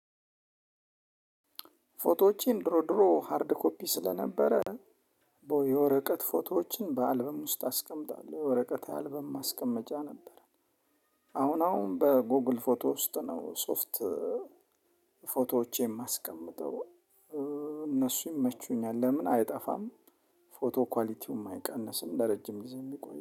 ፎቶዎቼን ድሮ ድሮ ሃርድ ኮፒ ስለነበረ የወረቀት ፎቶዎችን በአልበም ውስጥ አስቀምጣለሁ የወረቀት አልበም ማስቀመጫ ነበረ። አሁን አሁን በጎግል ፎቶ ውስጥ ነው። ሶፍት ፎቶዎቼን የማስቀምጠው። እነሱ ይመቹኛል ለምን? አይጠፋም ፎቶ ኳሊቲውም አይቀንስም ለረጅም ጊዜ የሚቆይ